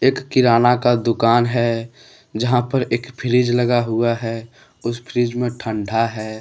एक किराना का दुकान है जहां पर एक फ्रिज लगा हुआ है उस फ्रिज में ठंडा है।